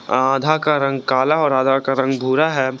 आधा का रंग काला और आधा का रंग भूरा है।